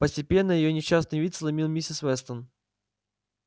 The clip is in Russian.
постепенно её несчастный вид сломил миссис вестон